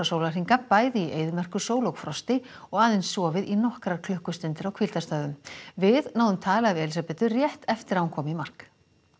sólarhringa bæði í eyðimerkursól og frosti og aðeins sofið í nokkrar klukkustundir á við náðum tali af Elísabetu rétt eftir að hún kom í mark